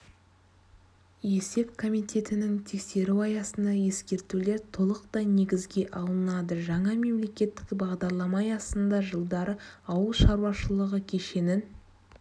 есеп комитетінің тексеруі аясында ескертулер толықтай негізге алынады жаңа мемлекеттік бағдарлама аясында жылдары ауыл шаруашылығы кешенін